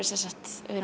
við